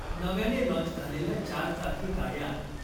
नव्याने लाँच झालेल्या चारचाकी गाड्या